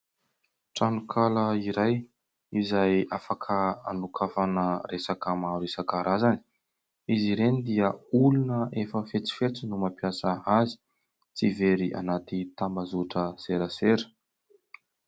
Tranonkala iray izay afaka hanokafana resaka maro isankarazany ; izy ireny dia olona efa fetsifetsy no mampiasa azy tsy very anaty tambazoatra serasera.